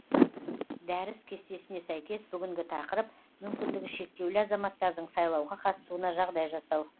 дәріс кестесіне сәйкес бүгінгі тақырып мүмкіндігі шектеулі азаматтардың сайлауға қатысуына жағдай жасау